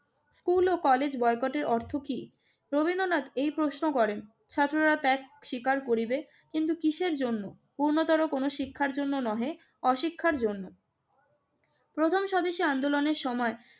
School ও college বয়কটের অর্থ কি? রবীন্দ্রনাথ এই প্রশ্ন করেন। ছাত্ররা ত্যাগ স্বীকার করিবে, কিন্তু কিসের জন্য? পূর্ণতর কোন শিক্ষার জন্য নহে, অশিক্ষার জন্য। প্রথম স্বদেশী আন্দোলনের সময়